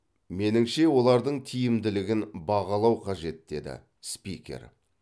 меніңше олардың тиімділігін бағалау қажет деді спикер